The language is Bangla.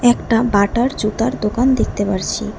একটা বাটার জুতার দোকান দেখতে পারছি।